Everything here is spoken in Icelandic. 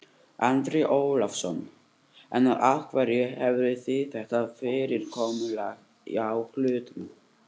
Andri Ólafsson: En af hverju hafið þið þetta fyrirkomulag á hlutunum?